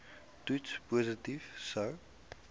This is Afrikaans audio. toets positief sou